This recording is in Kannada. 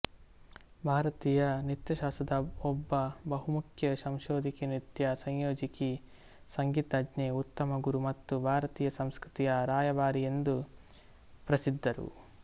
ಭಾರತೀಯ ನೃತ್ಯಶಾಸ್ತ್ರದ ಒಬ್ಬ ಬಹುಮುಖ್ಯ ಸಂಶೋಧಕಿ ನೃತ್ಯ ಸಂಯೋಜಕಿ ಸಂಗೀತಜ್ಞೆ ಉತ್ತಮ ಗುರು ಮತ್ತು ಭಾರತೀಯ ಸಂಸ್ಕೃತಿಯ ರಾಯಭಾರಿಯೆಂದು ಪ್ರಸಿದ್ಧರು